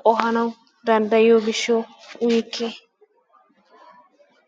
qohanawu danddayiyo gishshawu uyikke.